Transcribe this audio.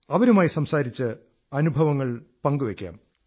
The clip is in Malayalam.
അവരുമായി സംസാരിച്ച് അനുഭവങ്ങൾ പങ്കുവയ്ക്കാം